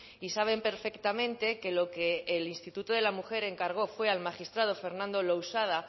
y saben perfectamente que lo que el instituto de la mujer encargó fue al magistrado fernando lousada